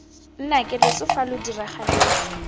nnake loso fa lo diragaletse